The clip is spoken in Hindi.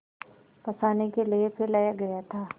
फँसाने के लिए फैलाया गया था